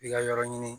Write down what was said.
I ka yɔrɔ ɲini